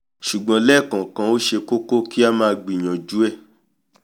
ṣùgbọ́n lẹ́ẹ̀kọ̀ọ̀kan ó ṣe kókó kí a gbìyànjú ẹ̀